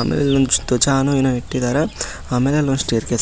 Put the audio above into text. ಆಮೇಲೆ ಇಲ್ಲಿ ಒಂದು ದ್ವಜಾನೋ ಏನೋಇಟ್ಟಿದಾರ ಆಮೇಲೆ ಆಲ್ಒಂದು ಸ್ಟೇರ್ ಕೇಸ್ ಐತಿ.